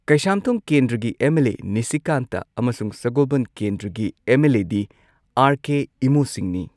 ꯀꯩꯁꯥꯝꯊꯣꯡ ꯀꯦꯟꯗ꯭ꯔꯒꯤ M L A Nishikanta ꯑꯃꯁꯨꯡ ꯁꯒꯣꯜꯕꯟ ꯀꯦꯟꯗ꯭ꯔꯒꯤ ꯑꯦꯝ ꯑꯦꯜ ꯑꯦ ꯗꯤ ꯑꯥꯔ ꯀꯦ ꯏꯃꯣ ꯁꯤꯡꯅꯤ